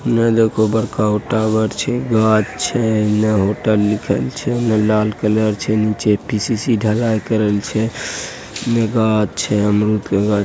औने देखो बड़का गो टावर छै गाछ छै एने होटल लिखल छै एने लाल कलर छै नीचे पी.सी.सी. ढलाई करल छै उउन्ने गाछ छै अमरूद के गाछ --